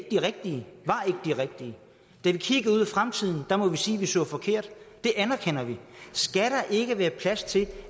de rigtige da vi kiggede ud i fremtiden må vi sige at vi så forkert det anerkender vi skal der ikke være plads til